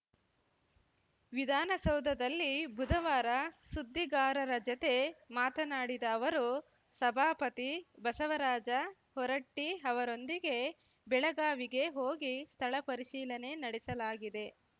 ವಿಧಾನಸೌಧದಲ್ಲಿ ಬುಧವಾರ ಸುದ್ದಿಗಾರರ ಜತೆ ಮಾತನಾಡಿದ ಅವರು ಸಭಾಪತಿ ಬಸವರಾಜ ಹೊರಟ್ಟಿಅವರೊಂದಿಗೆ ಬೆಳಗಾವಿಗೆ ಹೋಗಿ ಸ್ಥಳ ಪರಿಶೀಲನೆ ನಡೆಸಲಾಗಿದೆ